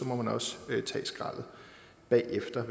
må man også tage skraldet bagefter